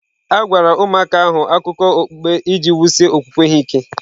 A gwara ụmụaka ahụ akụkọ okpukpe iji wusie okwukwe ha ike.